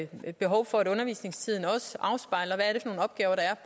behov for at undervisningstiden afspejler